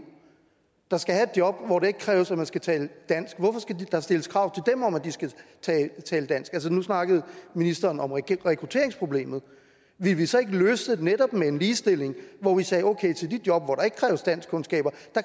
der skal have et job hvor det ikke kræves at man skal tale dansk stilles krav om at de skal tale dansk nu snakkede ministeren om rekrutteringsproblemet ville vi så ikke løse det med netop en ligestilling hvor vi sagde at til de job hvor der ikke kræves danskkundskaber